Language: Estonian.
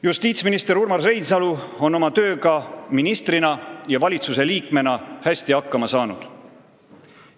Justiitsminister Urmas Reinsalu on oma tööga ministrina ja valitsusliikmena hästi hakkama saanud.